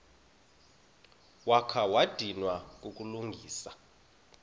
wakha wadinwa kukulungisa